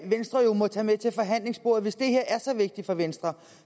venstre jo må tage med til forhandlingsbordet hvis det her er så vigtigt for venstre